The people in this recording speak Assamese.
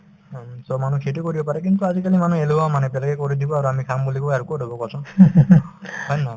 উম, so মানুহ সেইটোয়ে কৰিব পাৰে কিন্তু আজিকালিৰ মানুহ এলেহুৱা মানে বেলেগে কৰি দিব আৰু আমি খাম বুলি কই আৰু কত হব কোৱাচোন হয় নে নহয়